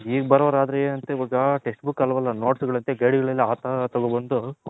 ಈಗ ಬರೋರ್ ಆದ್ರೆ ಏನಂತೆ ಇವಾಗ Text Book ಅಲ್ವಲ್ಲ Notes ಗಲ್ಲಂತೆ Guide ಗಳಲ್ಲಿ ಆ ತರ ತಗೊಂಡ್ ಬಂದು ಮಾಡ್ತಾವ್ರೆ ಅದರಲ್ಲಿ ಇರೋ.